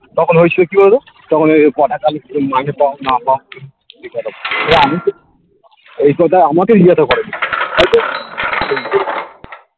তখ হয়েছিল কি বলতো তখন এই কটাকা তুমি মাইনে পাও না পাও আমিতো ওই কথাই আমাকেই জিজ্ঞাসা করে হয়তো